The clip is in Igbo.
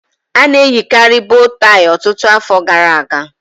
A na-eyikarị bòlọ́ tàị́ ọtụtụ afọ gara aga